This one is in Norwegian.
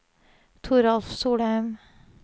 Toralf Solheim